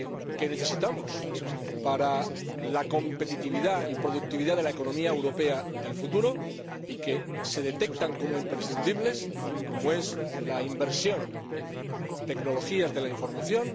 que necesitamos para la competitividad y la productividad de la economía europea del futuro y que se detectan como imprescindibles como es la inversión en tecnologías de la información